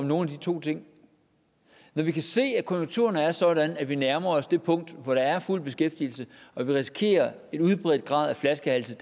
nogen af de to ting men vi kan se at konjunkturerne er sådan at vi nærmer os det punkt hvor der er fuld beskæftigelse og vi risikerer at flaskehalse